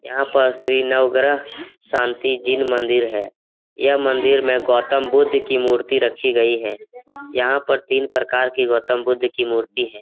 यहाँ पर श्री नवग्रह शांति जिन मंदिर है यह मंदिर में गौतम बुद्ध की मूर्ति रखी गई है यहाँ पर तीन प्रकार की गौतम बुद्ध की मूर्ति है।